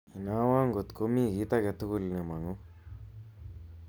Inaawo ngot komi kiti aketugul nemangu